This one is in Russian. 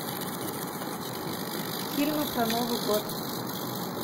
фильмы про новый год